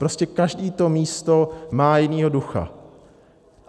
Prostě každé to místo má jiného ducha.